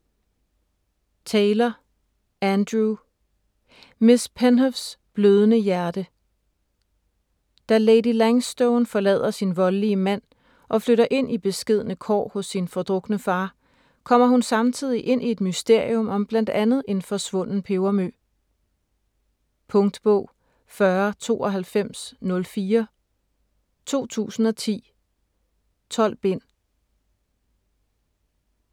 Taylor, Andrew: Miss Penhows blødende hjerte Da Lady Langstone forlader sin voldelige mand og flytter ind i beskedne kår hos sin fordrukne far, kommer hun samtidig ind i et mysterium om bl.a. en forsvunden pebermø. Punktbog 409204 2010. 12 bind.